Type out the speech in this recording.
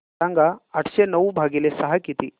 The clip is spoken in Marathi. सांगा आठशे नऊ भागीले सहा किती